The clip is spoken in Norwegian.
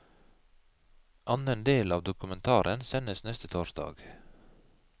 Annen del av dokumentaren sendes neste torsdag.